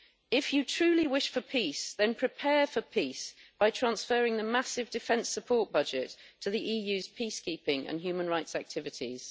If you truly wish for peace, then prepare for peace by transferring the massive defence support budget to the EU's peacekeeping and human rights activities.